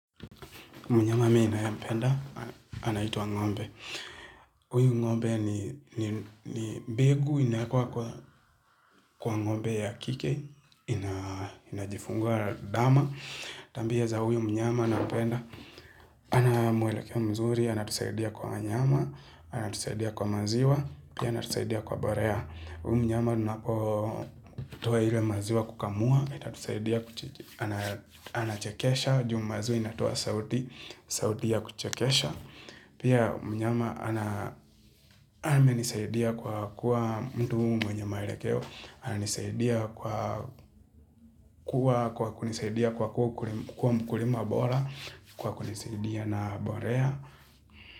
Mnyama mi nayempenda, anaitwa ngombe. Huyu ngombe ni mbegu, inaekwa kwa ngombe ya kike, inajifungua ndama. Tabia za huyu mnyama anapenda. Ana mwelekeo mzuri, anatusaidia kwa nyama, anatusaidia kwa maziwa, pia anatusaidia kwa mbolea. Huyu mnyama tunapotoa ile maziwa kukamua, yatatusaidia anachekesha. Juu maziwa inatoa sauti sauti ya kuchekesha Pia mnyama ana amenisaidia kwa kuwa mtu mwenye maelekeo ananisaidia kwa kuwa kwa kunisaidia kwa kuwa mkulima bora Kwa kunisaidia na mbolea.